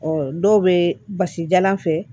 Ɔ dɔw bɛ basijalan fɛ